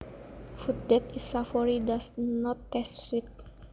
Food that is savoury does not taste sweet